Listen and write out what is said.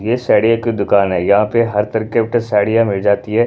ये साड़िया की दुकान है यहाँ पे हर तरह के टाइप की साड़ियाँ मिल जाती है।